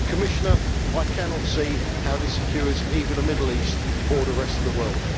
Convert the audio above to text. Commissioner, I cannot see how this secures either the Middle East or the rest of the world.